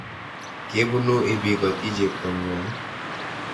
Kebunu ibikoti chepto ng'wong'?